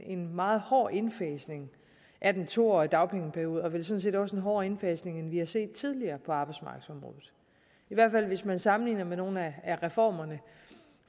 en meget hård indfasning af den to årige dagpengeperiode vel sådan set også en hårdere indfasning end vi har set tidligere på arbejdsmarkedsområdet i hvert fald hvis man sammenligner med nogle af reformerne